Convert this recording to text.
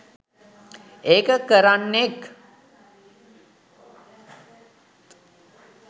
ඒක කරන්නෙත්